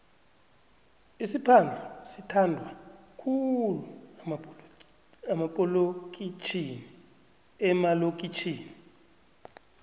isiphadhlu sithandwa khulu emalokitjhini